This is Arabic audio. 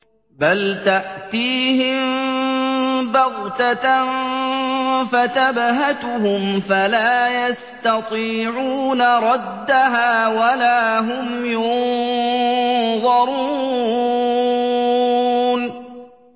بَلْ تَأْتِيهِم بَغْتَةً فَتَبْهَتُهُمْ فَلَا يَسْتَطِيعُونَ رَدَّهَا وَلَا هُمْ يُنظَرُونَ